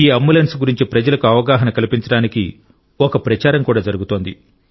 ఈ అంబులెన్స్ గురించి ప్రజలకు అవగాహన కల్పించడానికి ఒక ప్రచారం కూడా జరుగుతోంది